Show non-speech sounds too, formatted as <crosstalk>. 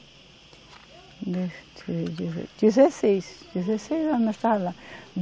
<unintelligible> dezesseis, dezesseis anos nós estava lá.